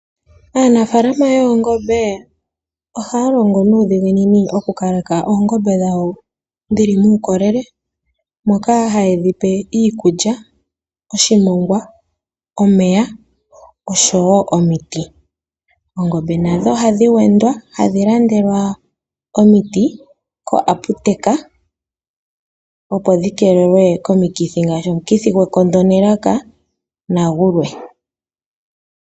Aanafalama woongombe ohaa longo nuudhiginini okukaleka oongombe dhawo dhili muukolele, moka haye dhi pe iikulya, oshimongwa, omeya oshowo omiti. Oongombe nadho ohadhi wendwa hadhi landelwa omiti ko aputeka opo dhi keelelwe komikithi ngaashi omukithi gwekondo nelaka nadhilwe.